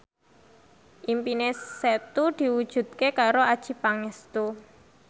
impine Setu diwujudke karo Adjie Pangestu